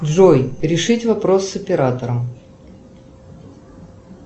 джой решить вопрос с оператором